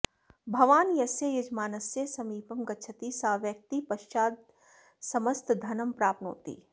भवान् यस्य यजमानस्य समीपं गच्छति सा व्यक्तिः पश्वादिसमस्तधनं प्राप्नोति